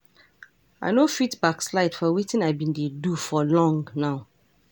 I no fit backslide for wetin i been dey do for long now.